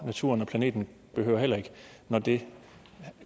naturen og planeten heller ikke når det